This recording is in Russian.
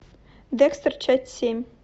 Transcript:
декстер часть семь